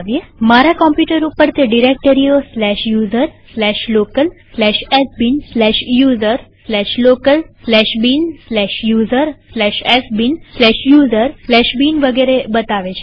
મારા કમ્પ્યુટર ઉપર તે ડિરેક્ટરીઓ user local sbin user local bin user sbin user bin વગેરે બતાવે છે